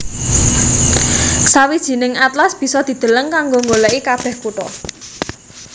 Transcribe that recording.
Sawijining atlas bisa dideleng kanggo nggolèki kabèh kutha